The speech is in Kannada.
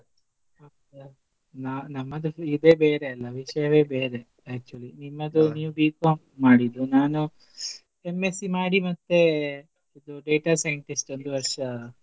ನಾ~ ನಮ್ಮದ್ರಲಿ ಇದೆ ಬೇರೆ ಅಲ ವಿಷ್ಯನೇ ಬೇರೆ actually ನೀವ್ B.Com ಮಾಡಿದ್ದೂ ನಾನು M.Sc. ಮಾಡಿ ಮತ್ತೆ ಇದು data scientist ಒಂದು ವರ್ಷ.